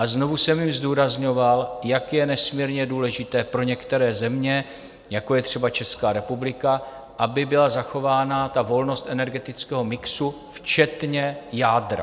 A znovu jsem jim zdůrazňoval, jak je nesmírně důležité pro některé země, jako je třeba Česká republika, aby byla zachována ta volnost energetického mixu včetně jádra.